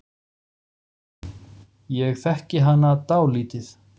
Ég þekki hana dálítið.